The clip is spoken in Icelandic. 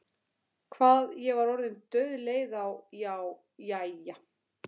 Hvað ég var orðin dauðleið á- já, jæja.